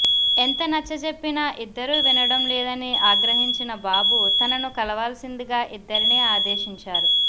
ఎంత నచ్చజెప్పినా ఇద్దరూ వినడం లేదని ఆగ్రహించిన బాబు తనను కలవాల్సిందిగా ఇద్దరినీ ఆదేశించారు